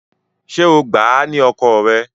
Ṣé o gbà á ni ọkọ rẹ?